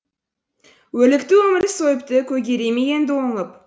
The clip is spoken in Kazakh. өрлікті өмір сойыпты көгере ме енді оңып